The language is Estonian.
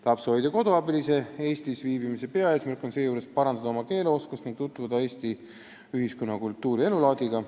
Lapsehoidja-koduabilise Eestis viibimise peaeesmärk on seejuures parandada oma keeleoskust ning tutvuda Eesti ühiskonna, kultuuri ja elulaadiga.